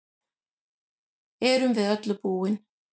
Erum við öllu búin